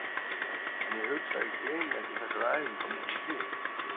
En ég hugsa að ég gleymi ekki þessari æfingu á meðan ég lifi.